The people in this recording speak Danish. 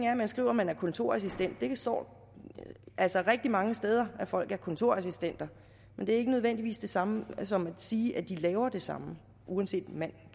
at man skriver at man er kontorassistent det står rigtig mange steder at folk er kontorassistenter er ikke nødvendigvis det samme som at sige at de laver det samme uanset mand